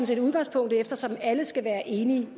set udgangspunktet eftersom alle skal være enige